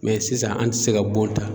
Mɛ sisan an te se ka bon ta